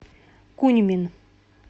куньмин